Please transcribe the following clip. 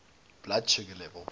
blood sugar level